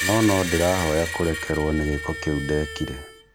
No nondĩrahoya kũrekerwo nĩ gĩko kĩu ndekire